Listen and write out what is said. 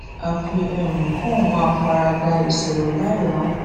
àfi um kóun máa fara da ìṣòro láìráhùn